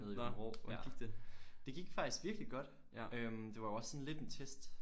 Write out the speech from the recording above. Nede i Aabenraa ja. Det gik faktisk virkelig godt øh det var jo også sådan lidt en test